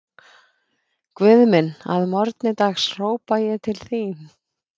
Guð minn, að morgni dags hrópa ég til þín